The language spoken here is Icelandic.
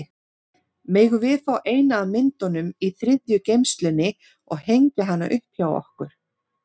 Megum við fá eina af myndunum í þriðju geymslunni og hengja hana upp hjá okkur?